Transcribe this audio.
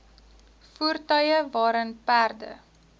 voertuie waarin perde